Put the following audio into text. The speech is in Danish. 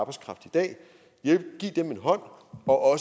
at hjælpe og